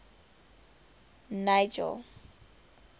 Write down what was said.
nigel